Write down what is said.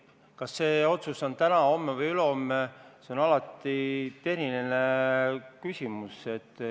Kas seda otsustatakse teha täna, homme või ülehomme, see on alati tehniline küsimus.